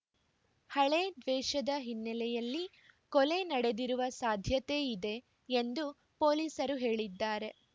ಹಳೇ ದ್ವೇಷದ ಹಿನ್ನೆಲೆಯಲ್ಲಿ ಕೊಲೆ ನಡೆದಿರುವ ಸಾಧ್ಯತೆ ಇದೆ ಎಂದು ಪೊಲೀಸರು ಹೇಳಿದ್ದಾರೆ